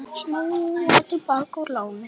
Snúa til baka úr láni